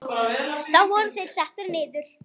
Þá voru þeir settir niður.